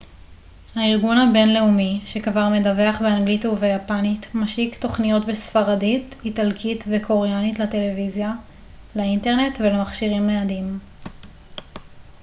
הארגון הבינלאומי שכבר מדווח באנגלית וביפנית משיק תוכניות בספרדית איטלקית וקוריאנית לטלוויזיה לאינטרנט ולמכשירים ניידים